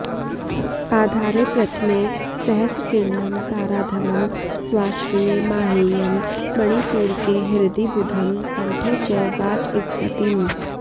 आधारे प्रथमे सहस्रकिरणं ताराधवं स्वाश्रये माहेयं मणिपूरके हृदि बुधं कण्ठे च वाचस्पतिम्